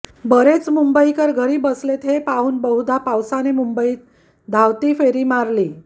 बरेच मुंबईकर घरी बसलेत हे पाहून बहुधा पावसाने मुंबईत धावती फेरी मारली